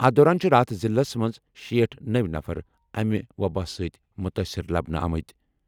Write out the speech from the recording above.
أتھہِ دوران چھِ راتھ ضِلعس منٛز شیٹھ نٔوِ نَفر امہِ وۄباہ سۭتۍ مُتٲثِر لبنہٕ آمٕتۍ۔